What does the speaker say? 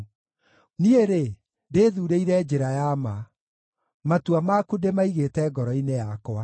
Niĩ-rĩ, ndĩĩthuurĩire njĩra ya ma; matua maku ndĩmaigĩte ngoro-inĩ yakwa.